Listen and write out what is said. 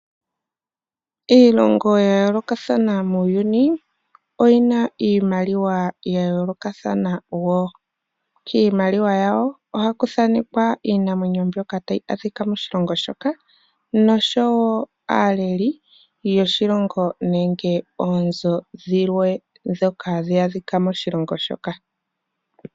Iilonho ya yoolokathana muuyuni oyina iimaliwa ya yoolokathana wo. Kiimaliwa yawo ohaku thanekwa iinamwenyo mbyoka tayi adhika moshilongo shoka noshowo aaleli yoshilongo nenge oonzo dhilwe ndhoka hadhi adhika moshilongo shoka.